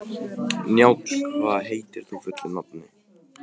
Njáll, hvað heitir þú fullu nafni?